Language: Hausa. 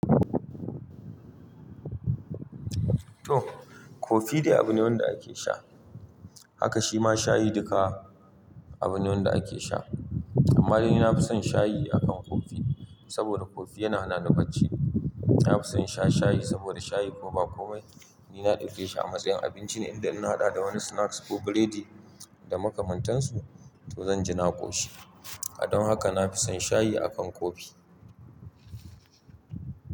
To kofi dai abin nawa da ake sha, haka shima shayi duka abin nawa da ake sha. Amma dai ni nafison shayi akan kofi, saboda kofi yana hana ni bacci. Nafison sha shayi saboda shayi ko ba komai ni na dauke shi a matsayin abinci ne idan ina haɗa da wani snacks ko burodi da makamantansu to zanji na ƙoshi. Kadon haka nafison shayi akan kofi.